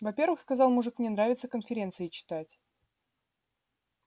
во-первых сказал мужик мне нравится конференции читать